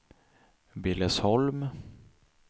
Billesholm